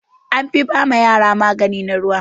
An fi ba ma yara magani na ruwa.